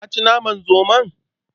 Ka ci naman zomon?